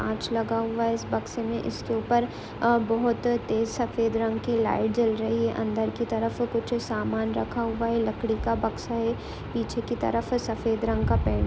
काँच लगा हुआ है इस बक्शे में इसके ऊपर अ बहोत तेज सफ़ेद रंग की लाइट जल रही है अंदर की तरफ कुछ सामान रखा हुआ है लकड़ी का बक्शा है पीछे की तरफ सफ़ेद रंग का पेंट --